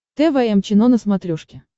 тэ вэ эм чено на смотрешке